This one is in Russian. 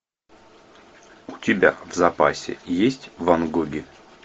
у тебя в запасе есть ван гоги